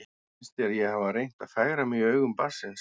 Finnst þér ég hafa reynt að fegra mig í augum barnsins?